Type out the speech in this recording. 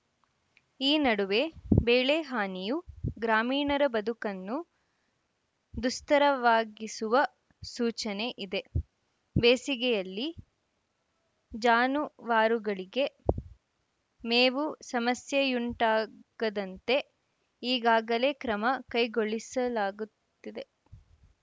ಈ ನಡುವೆ ಬೆಳೆ ಹಾನಿಯೂ ಗ್ರಾಮೀಣರ ಬದುಕನ್ನು ದುಸ್ತರವಾಗಿಸುವ ಸೂಚನೆ ಇದೆ ಬೇಸಿಗೆಯಲ್ಲಿ ಜಾನುವಾರುಗಳಿಗೆ ಮೇವು ಸಮಸ್ಯೆಯುಂಟಾಗದಂತೆ ಈಗಾಗಲೇ ಕ್ರಮ ಕೈಗೊಳಿಸಲಾಗುತ್ತಿದೆ